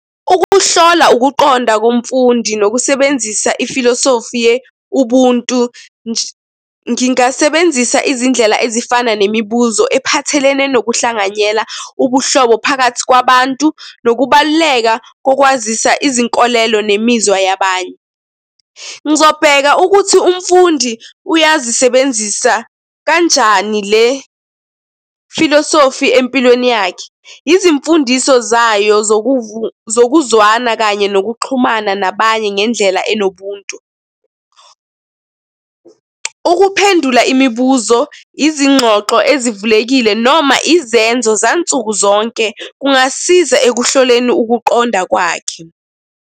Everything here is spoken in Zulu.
Ukuhlola ukuqonda komfundi nokusebenzisa i-filosofi ye-Ubuntu ngingasebenzisa izindlela ezifana nemibuzo ephathelene nokuhlanganyela ubuhlobo phakathi kwabantu, nokubaluleka kokwazisa izinkolelo nemizwa yabanye. Ngizobheka ukuthi umfundi uyazisebenzisa kanjani le-filosofi empilweni yakhe. Izimfundiso zayo zokuzwana kanye nokuxhumana nabanye ngendlela enobuntu. Ukuphendula imibuzo, izingxoxo ezivulekile noma izenzo zansuku zonke kungasiza ekuhloleni ukuqonda kwakhe.